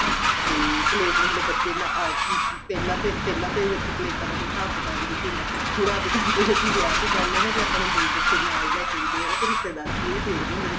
ਤੇ ਪਲੇਟ ਵੇਖ੍ਲੋ ਬੱਚੇ ਨਾ ਪਹਿਲਾਂ ਪਹਿਲਾਂ ਤਾਂ ਵੇਖੋ ਪਲੇਟਾਂ ਦਾ ਕੋਈ ਹਿਸਾਬ ਕਿਤਾਬ ਨਹੀਂ ਸੀ ਹੁੰਦਾ ਹੁਣ ਅੱਜ ਕੱਲ ਦੇਖੋ ਵਿਆਹ ਤੇ ਜਾਣੇ ਆਂ ਕੇ ਆਪਣੇਂ ਦੋ ਬੱਚੇ ਨਾਲ ਲੈਕੇ ਵੀ ਗਏ ਆਂ ਰਿਸ਼ਤੇਦਾਰ ਵੀ ਇਹ ਦੇਖਦੇ ਨੇ